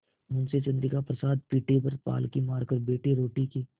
मुंशी चंद्रिका प्रसाद पीढ़े पर पालथी मारकर बैठे रोटी के